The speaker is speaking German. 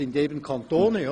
Es sind eben Kantone.